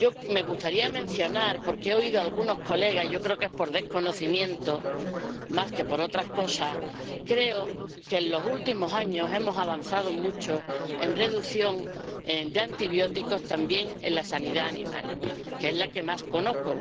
Me gustaría mencionar —porque he oído a algunos colegas y yo creo que es por desconocimiento, más que por otra cosa— que en los últimos años hemos avanzado mucho la en reducción de antibióticos también en la sanidad animal, que es la que más conozco.